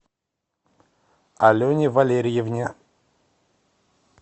алене валерьевне